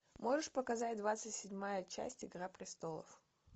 можешь показать двадцать седьмая часть игра престолов